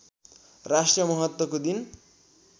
राष्ट्रिय महत्त्वको दिन